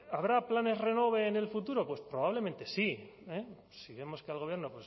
habrá planes renove en el futuro pues probablemente sí eh sí vemos que al gobierno